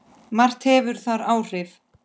Margt hefur þar áhrif.